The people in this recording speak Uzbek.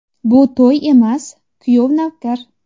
Bu to‘y emas, kuyov-navkar.